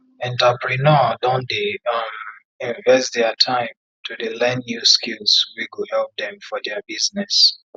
enterpreneur don dey um invest dia time to dey learn new skills wey go help dem for dia business